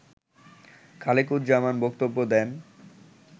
খালেকুজ্জামান বক্তব্য দেন